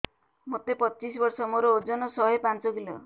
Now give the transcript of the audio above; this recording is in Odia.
ମୋତେ ପଚିଶି ବର୍ଷ ମୋର ଓଜନ ଶହେ ପାଞ୍ଚ କିଲୋ